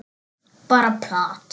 Bara plat.